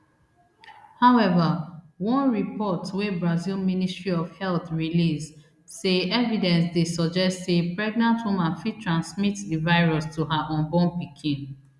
however one report wey brazil ministry of health release say evidence dey suggest say pregnant woman fit transmit di virus to her unborn pikin